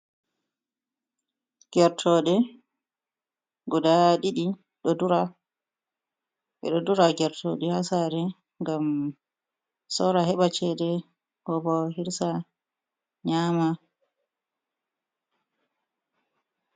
Gertoɗe guda ɗiɗi ɗo dura. Ɓeɗo dura gertoɗe haa sare ngam sora heɓa cede ko bo hirsa nyama.